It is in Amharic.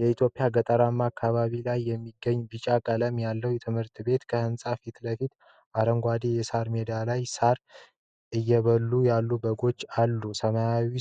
የኢትዮጵያ ገጠራማ አካባቢ ላይ የሚገኝ ቢጫ ቀለም ያለው ትምህርት ቤት ። ከህንፃው ፊት ለፊት አረንጓዴ የሳር ሜዳ ላይ ሳር እየበሉ ያሉ በጎች አሉ። ሰማዩ